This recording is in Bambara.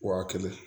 Waa kelen